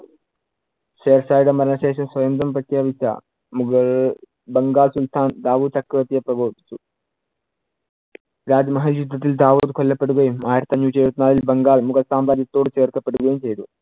ഷേർഷയുടെ മരണ ശേഷം സ്വയങ്കം പ്രഖ്യാപിച്ച മുഗൾ ബംഗാൾ സുൽത്താൻ ദാവുത് ചക്രവർത്തിയെ പ്രബോധിപ്പിച്ചു. രാജ്യമഹൽ യുദ്ധത്തിൽ ദാവൂദ് കൊല്ലപ്പെടുകയും ആയിരത്തി അഞ്ഞൂറ്റി എഴുപത്തിനാലിൽ ബംഗാൾ മുഗൾ സാമ്രാജ്യത്തോട് ചേർക്കപ്പെടുകയും ചെയ്തു.